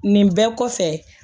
Nin bɛɛ kɔfɛ